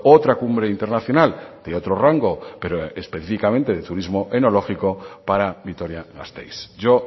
otra cumbre internacional de otro rango pero específicamente de turismo enológico para vitoria gasteiz yo